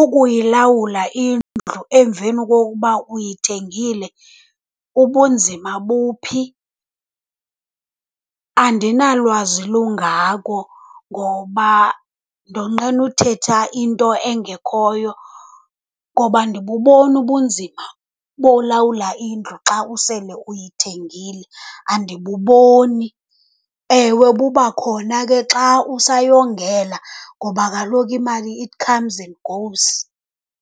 Ukuyilawula indlu emveni kokuba uyithengile, ubunzima buphi? Andinalwazi lungako ngoba ndonqena uthetha into engekhoyo, ngoba andibuboni ubunzima bolawula indlu xa usele uyithengile, andibuboni. Ewe buba khona ke xa usayongela ngoba kaloku imali it comes and goes.